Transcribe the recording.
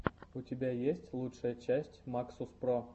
у тебя есть лучшая часть максус про